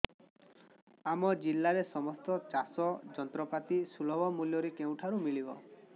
ଆମ ଜିଲ୍ଲାରେ ସମସ୍ତ ଚାଷ ଯନ୍ତ୍ରପାତି ସୁଲଭ ମୁଲ୍ଯରେ କେଉଁଠାରୁ ମିଳିବ